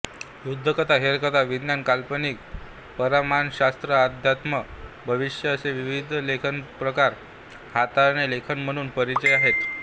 युद्धकथा हेरकथा विज्ञान काल्पनिका परामानसशास्त्रअध्यात्म भविष्य असे विविध लेखनप्रकार हाताळणारे लेखक म्हणून परिचित आहेत